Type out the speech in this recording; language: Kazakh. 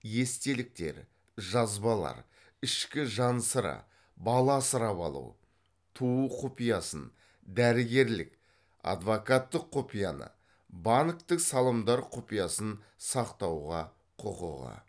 естеліктер жазбалар ішкі жан сыры бала асырап алу туу құпиясын дәрігерлік адвокаттық құпияны банктік салымдар құпиясын сақтауға құқығы